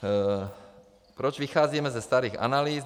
Proč vycházíme ze starých analýz.